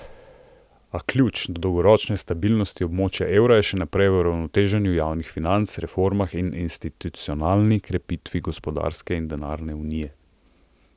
A ključ do dolgoročne stabilnosti območja evra je še naprej v uravnoteženju javnih financ, reformah in institucionalni krepitvi gospodarske in denarne unije.